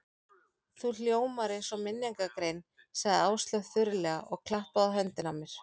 Þú hljómar eins og minningargrein sagði Áslaug þurrlega og klappaði á höndina á mér.